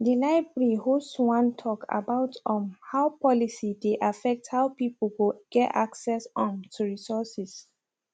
di library host one tok about um how policy dey affect how pipu go get access um to resources